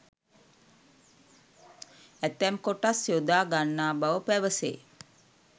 ඇතැම් කොටස් යොදා ගන්නා බව පැවසේ.